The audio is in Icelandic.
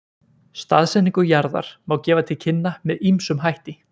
Staðsetningu jarðar má gefa til kynna með ýmsum hætti.